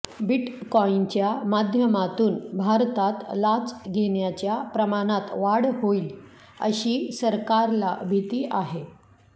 बिटकॉईनच्या माध्यमातून भारतात लाच घेण्याच्या प्रमाणात वाढ होईल अशी सरकारला भीती आहे